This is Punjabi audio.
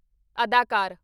ਅਦਾਕਾਰ